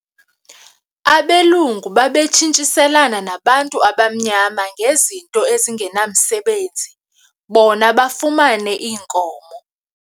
Abelungu babetshintshiselana nabantu abamnyama ngezinto ezingenamsebenzi bona bafumane iinkomo.